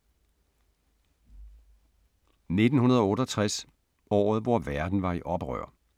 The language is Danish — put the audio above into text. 1968 – året hvor verden var i oprør